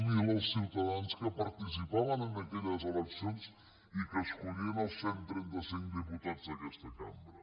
zero els ciutadans que participaven en aquelles eleccions i que escollien els cent i trenta cinc diputats d’aquesta cambra